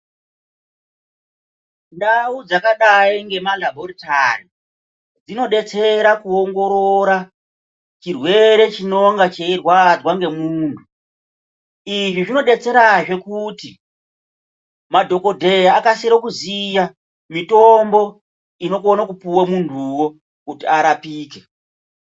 Ndau dzakadai ngemalabhoritari dzinodetsera kuongorora chirwere chinonga chechirwadzwa ngemuntu. Izvi zvinodetserazve kuti madhokodheya akasire kuziya mitombo inokonokupiwa munhuwo kuti arapike.